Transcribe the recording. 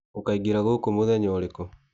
Ũkaĩngĩra gũkũ mũthenya ũrĩkũ.